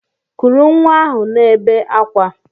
Kụrụ nwa ahụ na-ebe akwa!